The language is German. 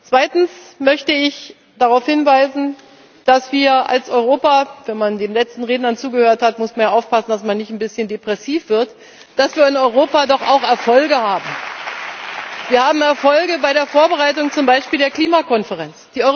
Zweitens möchte ich darauf hinweisen, dass wir als Europa wenn man den letzten Rednern zugehört hat muss man ja aufpassen, dass man nicht ein bisschen depressiv wird dass wir in Europa doch auch Erfolge haben. Wir haben Erfolge zum Beispiel bei der Vorbereitung der Klimakonferenz.